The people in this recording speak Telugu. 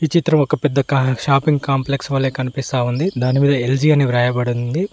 ఈ చిత్రం ఒక పెద్ద షాపింగ్ కాంప్లెక్స్ వల్లే కనిపిస్తా ఉంది దానిమీద ఎల్_జి అని వ్రాయబడింది.